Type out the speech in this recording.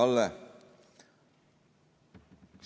Hea Kalle!